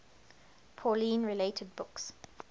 pauline related books